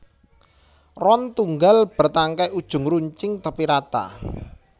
Ron tunggal bértangkai ujung runcing tépi rata